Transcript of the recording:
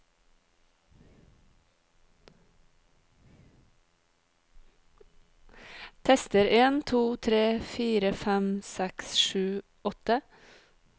Tester en to tre fire fem seks sju åtte